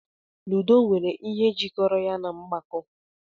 Ludo nwere ihe jikọrọ ya na mgbako.